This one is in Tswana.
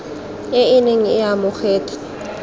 e e neng e amogetswe